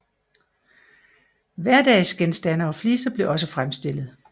Hverdagsgenstande og fliser blev også fremstillet